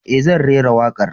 E, zan rera wakar.